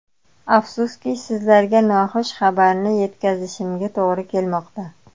Afsuski, sizlarga noxush xabarni yetkazishimga to‘g‘ri kelmoqda.